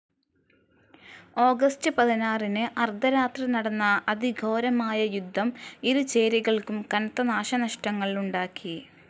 August പതിനാറിന് അർദ്ധരാത്രി നടന്ന അതിഘോരമായ യുദ്ധം ഇരു ചേരികൾക്കും കനത്ത നാശനഷ്ടങ്ങളുണ്ടാക്കി.